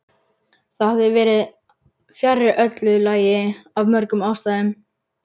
Það hefði verið fjarri öllu lagi af mörgum ástæðum.